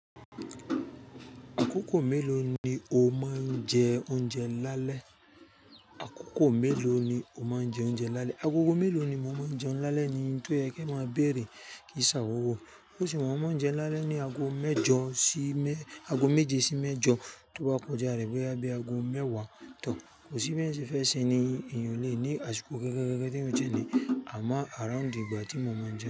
Àkókò mélòó ni o máa ń jẹ oúnjẹ lálẹ́? Àkókò mélòó ni o máa ń jẹ oúnjẹ lálẹ́? Àgógò mélòó ni mo máa ń jẹún lálẹ́ ni ohun tó yẹ ke máa béèrè kìí ń ṣàwọ̀wọ̀. Bi ń se wayi, mo máa ń jẹun lálẹ́ ni ago méje sí mẹ́jọ tó bá kọjá rẹ̀ bó yá bí ago mẹ́wàá tán. Kò sí bi èèyàn se fẹ́ ṣẹ ni èèyàn ó le ní àsìkò gangan gan tí èèyàn ó jẹun ni àmọ́ around ìgbà tí mo máa ń jẹ.